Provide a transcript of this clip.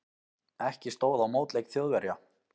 Ekki stóð á mótleik Þjóðverja.